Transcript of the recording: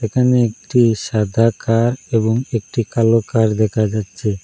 এখানে একটি সাদা কার এবং একটি কালো কার দেখা যাচ্ছে।